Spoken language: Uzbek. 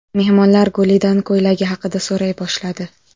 Mehmonlar Gulidan ko‘ylagi haqida so‘ray boshladi.